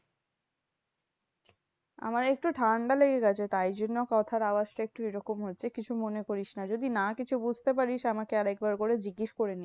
আমার একটু ঠান্ডা লেগে গেছে। তাই জন্য কথার আওয়াজটা একটু এইরকম হচ্ছে। কিছু মনে করিস না। যদি না কিছু বুঝতে পারিস। আমাকে আরেকবার করে জিজ্ঞেস করে নিবি।